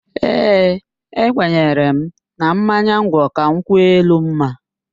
Ee, ekwenyere m na mmanya ngwọ ka nkwụ elu mma